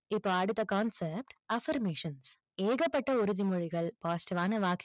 இப்போ அடுத்த concept affirmation ஏகப்பட்ட உறுதிமொழிகள் positive வான